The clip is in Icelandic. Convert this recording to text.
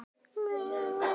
Ég get aldrei kvatt þig.